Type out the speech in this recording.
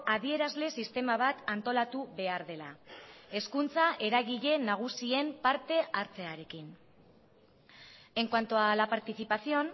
adierazle sistema bat antolatu behar dela hezkuntza eragile nagusien parte hartzearekin en cuanto a la participación